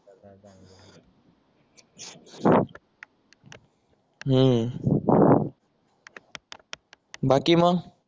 हम्म बाकी मग